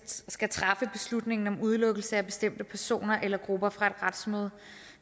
skal træffe beslutningen om udelukkelse af bestemte personer eller grupper fra et retsmøde